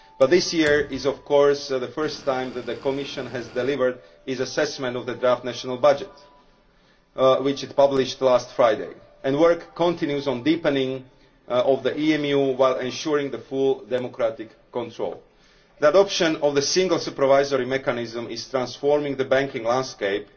But this year is, of course, the first time that the Commission has delivered its assessment of the draft national budget which it published last Friday, and work continues on the deepening of EMU while ensuring full democratic control. That option of the Single Supervisory Mechanism is transforming the banking landscape